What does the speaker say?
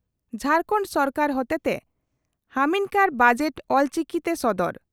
ᱡᱷᱟᱨᱠᱚᱱᱰ ᱥᱚᱨᱠᱟᱨ ᱦᱚᱛᱮᱛᱮ ᱦᱟᱢᱤᱱᱠᱟᱨ ᱵᱟᱡᱮᱴ ᱚᱞᱪᱤᱠᱤᱛᱮ ᱥᱚᱫᱚᱨ